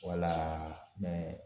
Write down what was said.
Wala